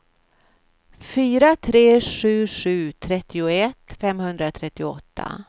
fyra tre sju sju trettioett femhundratrettioåtta